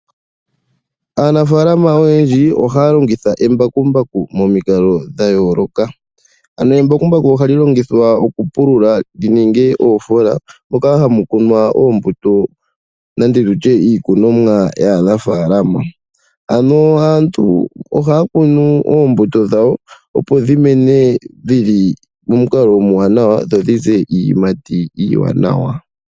Aanafalama oyendji ohaya longitha embakumbaku momikalo dha yooloka, ano embakumbaku ohali longithwa okupulula li ninge oofola moka hamu kunwa oombuto nenge tutye iilikolomwa yaanafalama. Ano aantu ohaya kunu oombuto dhawo, opo dhi mene dhili momukalo omuwanawa dho dhi ze iiyimati iiwanawa.